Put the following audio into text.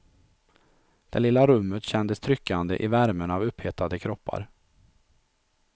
Det lilla rummet kändes tryckande i värmen av upphettade kroppar.